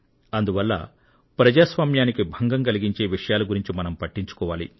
అందువల్ల ప్రజాస్వామ్యానికి భంగం కలిగించే విషయాల గురించి మనం పట్టించుకోవాలి